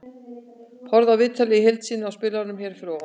Horfðu á viðtalið í heild sinni í spilaranum hér fyrir ofan.